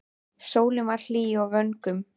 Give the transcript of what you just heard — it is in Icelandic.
Sólin var enn hlý á vöngum.